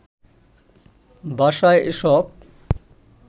বাসায় এসব